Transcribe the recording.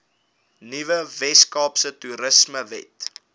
nuwe weskaapse toerismewet